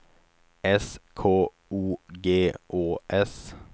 S K O G Å S